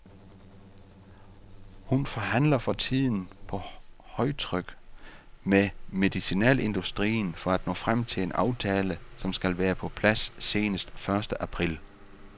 Hun forhandler for tiden på højtryk med medicinalindustrien for at nå frem til en aftale, som skal være på plads senest første april.